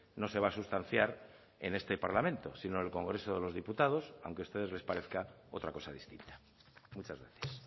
no se va a sustanciar en este parlamento sino en el congreso de los diputados aunque a ustedes les parezca otra cosa distinta muchas gracias